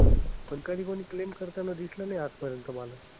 पण कधी कुणी claim करताना दिसलं नाही आजपर्यंत मला.